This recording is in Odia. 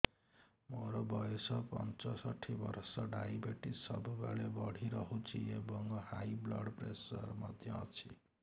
ମୋର ବୟସ ପଞ୍ଚଷଠି ବର୍ଷ ଡାଏବେଟିସ ସବୁବେଳେ ବଢି ରହୁଛି ଏବଂ ହାଇ ବ୍ଲଡ଼ ପ୍ରେସର ମଧ୍ୟ ଅଛି